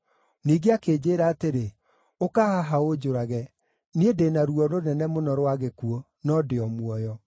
“Ningĩ akĩnjĩĩra atĩrĩ, ‘Ũka haha ũnjũrage! Niĩ ndĩ na ruo rũnene mũno rwa gĩkuũ, no ndĩ o muoyo.’